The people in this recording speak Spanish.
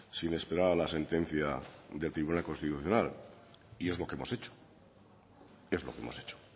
sin esperar a la sentencia del tribunal constitucional y es lo que hemos hecho es lo que hemos hecho